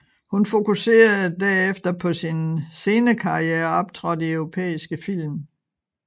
Hun fokuserede derefter på sin scenekarriere og optrådte i europæiske film